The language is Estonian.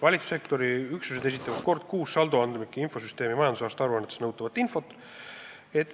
Valitsussektori üksused esitavad kord kuus saldoandmike infosüsteemi majandusaasta aruannetes nõutavat infot.